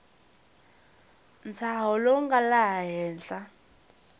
ntshaho lowu nga laha henhla